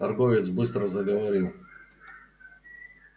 торговец быстро заговорил